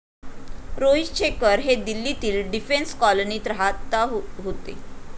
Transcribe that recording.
रोहित शेखर हे दिल्लीतील डिफेन्स कॉलनीत राहात होते.